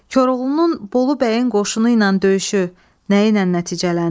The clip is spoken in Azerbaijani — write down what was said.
Koroğlunun Bolu bəyin qoşunu ilə döyüşü nə ilə nəticələndi?